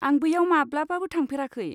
आं बैयाव माब्लाबाबो थांफेराखै।